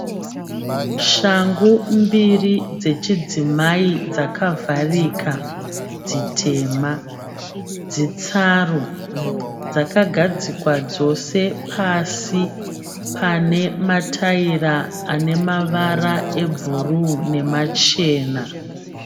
Shangu mbiri dzechidzimai dzakavharika dzitema dzitsaru. Dzakagadzikwa dzose pasi pane mataira ane mavara ebhuruu nemachena.